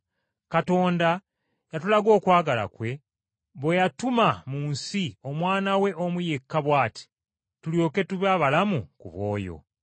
Katonda yatulaga okwagala kwe, bwe yatuma mu nsi Omwana we omu yekka bw’ati, tulyoke tube abalamu ku bw’oyo.